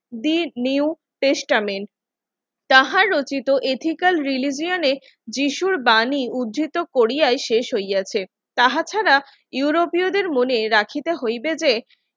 did new testament যাহা রচিত ethical রিলিজিয়নের যীশুর বাণী উদ্ধৃত কোরিয়ায় শেষ হইয়াছে তাহা ছাড়া ইউরোপীয়দের মনে রাখি